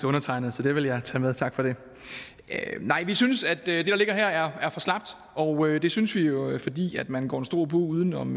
undertegnede så det vil jeg tage med og tak for det nej vi synes at det der ligger her er for slapt og det synes vi jo fordi man går i en stor bue uden om